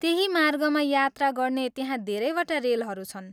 त्यही मार्गमा यात्रा गर्ने त्यहाँ धेरैवटा रेलहरू छन्।